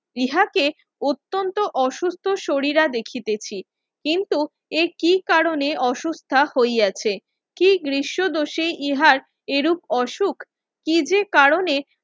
ইহাকে অত্যন্ত অসুস্থ সরিরা দেখিতেছি কিন্তু এ কি কারণে অসুস্থা হইয়াছে কি গ্রীস দোষে ইহার এরূপ অসুখ কি যে কারণে